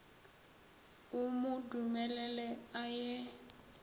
o mo dumelele a ye